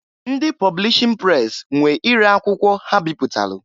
Ndị publishin pres nwe ire akwụkwọ ha bịpụtalụ.